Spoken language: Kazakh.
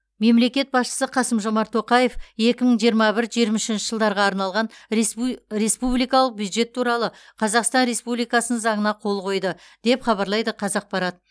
мемлекет басшысы қасым жомарт тоқаев екі мың жиырма бір жиырма үшінші жылдарға арналған респу республикалық бюджет туралы қазақстан республикасының заңына қол қойды деп хабарлайды қазақпарат